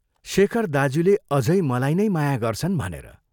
शेखर दाज्यूले अझै मलाई नै माया गर्छन् भनेर।